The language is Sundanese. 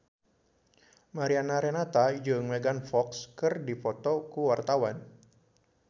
Mariana Renata jeung Megan Fox keur dipoto ku wartawan